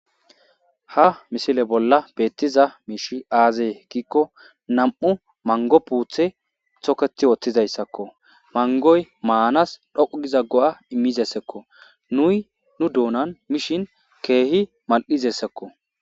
Ha misile bolla beettiza miishi aaze giikko nam7u manggo puuthe thokethi wothizaysaako. Manggoy maanas dhoqqu giza go7a immizeyssako. Nuy nu doonan mishe keehi mal7izayssako.